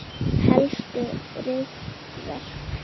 Helstu ritverk